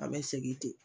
An bɛ segin ten